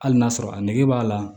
Hali n'a sɔrɔ a nege b'a la